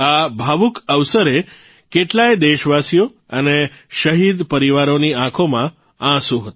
આ ભાવુક અવસરે કેટલાય દેશવાસીઓ અને શહીદ પરિવારોની આંખોમાં આંસુ હતા